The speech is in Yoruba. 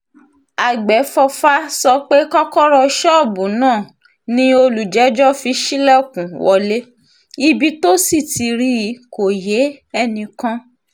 àgbẹ̀fọ́fà sọ pé kọ́kọ́rọ́ ṣọ́ọ̀bù náà ni olùjẹ́jọ́ fi ṣílẹ̀kùn wọlé ibi tó sì ti rí i kó yé enìkan